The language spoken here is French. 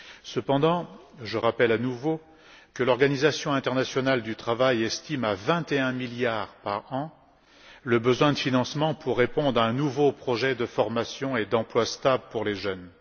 Cependant, je rappelle à nouveau que l'Organisation internationale du travail estime à 21 milliards par an le besoin de financement pour répondre à un nouveau projet de formation et d'emploi stable pour les jeunes.